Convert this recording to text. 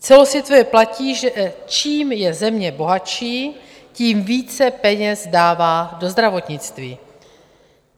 Celosvětově platí, že čím je země bohatší, tím více peněz dává do zdravotnictví.